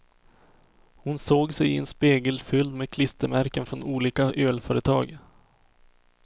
Hon såg sig i en spegel fylld med klistermärken från olika ölföretag.